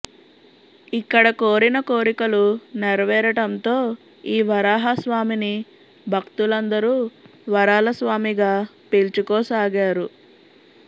ఇక్కడ కోరిన కోరికలు నెరవేరటంతో ఈ వరాహ స్వామిని భక్తులందరూ వరాలస్వామిగా పిలుచుకోసాగారు